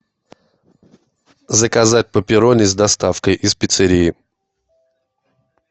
заказать пепперони с доставкой из пиццерии